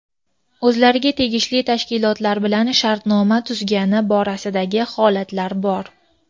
o‘zlariga tegishli tashkilotlar bilan shartnoma tuzgani borasidagi holatlar bor.